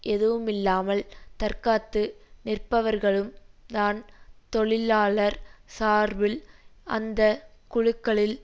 எதுவுமில்லாமல் தற்காத்து நிற்பவர்களும் தான் தொழிலாளர் சார்பில் அந்த குழுக்களில்